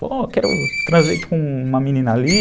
Pô, quero transei com uma menina ali.